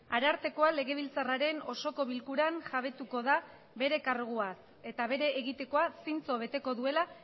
arartekoa legebiltzarraren osoko bilkuran jabetuko da bere karguaz eta bere egitekoa zintzo beteko duela